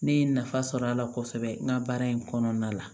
Ne ye nafa sɔrɔ a la kosɛbɛ n ka baara in kɔnɔna la